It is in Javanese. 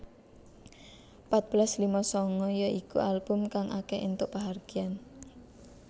Patbelas lima sanga ya iku album kang akeh entuk panghargyaan